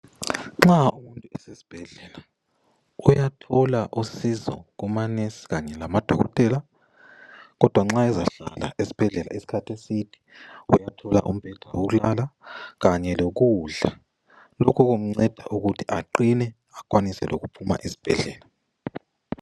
Nxa usesibhedlela uyathola usizo Kuma nesi Kanye lamadokotela ,kodwa nxa ezahlala esibhedlela isikhathi eside uyathola umbheda wokulala Kanye lokudla lokhu kumnceda ukuthi aqine lokuthi akwanise ukuphuma sibhedlela.